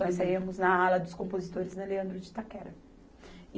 Nós saímos na Ala dos Compositores, na Leandro de Itaquera.